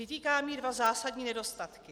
Vytýkám jí dva zásadní nedostatky.